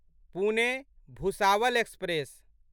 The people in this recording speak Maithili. पुने भुसावल एक्सप्रेस